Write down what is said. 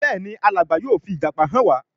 Béèni Alàgbà yóò fi ìjàpá hàn wá.